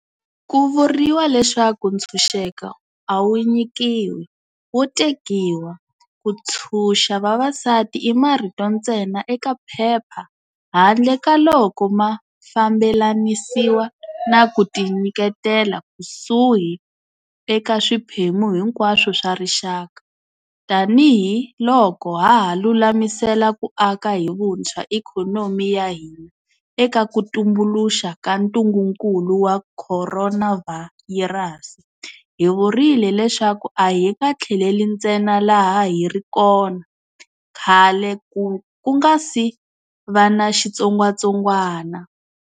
Ku vuriwa leswaku ntshuxeko a wu nyikiwi, wo tekiwa. Ku ntshuxa vavasati i marito ntsena eka phepha handle ka loko ma fambelanisiwa na ku ti nyiketela kusuhi eka swiphemu hinkwaswo swa rixaka. Tanihi loko haha lulamisela ku aka hi vuntshwa ikhonomi ya hina eka ku tumbuluxa ka ntungunkulu wa khoronavhayirasi, hi vurile leswaku a hi nga tlheleli ntsena laha hi ri kona khale ku nga si va na xitsongwatsongwana.